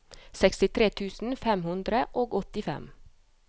sekstitre tusen fem hundre og åttifem